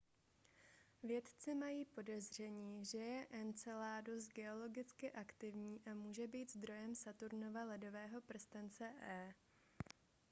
vědci mají podezření že je enceladus geologicky aktivní a může být zdrojem saturnova ledového prstence e